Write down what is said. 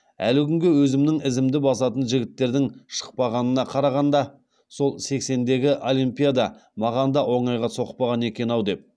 әлі күнге өзімнің ізімді басатын жігіттердің шықпағанына қарағанда сол сексендегі олимпиада маған да оңайға соқпаған екен ау деп